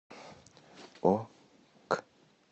ок